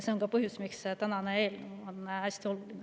See on ka põhjus, miks tänane eelnõu on hästi oluline.